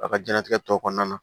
A ka diɲɛnatigɛ tɔ kɔnɔna na